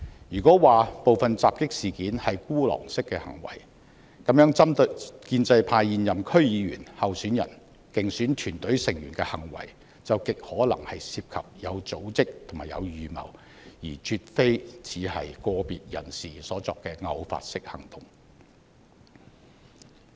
如果說部分襲擊事件是孤狼式的行為，那麼針對建制派現任區議員、候選人、競選團隊成員的行為，就極可能有組織和有預謀，而絕非只是個別人士所作的偶發式行動。